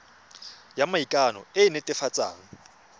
ya maikano e e netefatsang